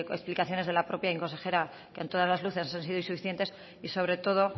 explicaciones de la propia consejera que a todas las luces han sido insuficientes y sobre todo